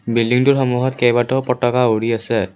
বিল্ডিটোৰ সন্মুখত কেইবাটাও পতাকা উৰি আছে।